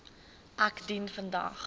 ek dien vandag